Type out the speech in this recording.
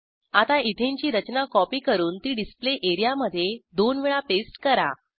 आता इथेनची रचना कॉपी करून ती डिस्प्ले एरियामधे दोन वेळा पेस्ट करा